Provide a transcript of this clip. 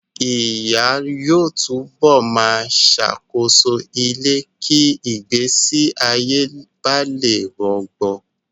Ìyá yóò tú bọ̀ máa ṣàkóso ilé kí ìgbésí ayé ba lè rọgbọ.